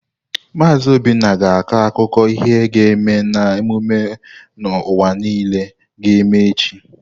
Maazi Obinna ga-akọ akụkọ ihe ga-eme na emume n'ụwa niile ga-eme echi.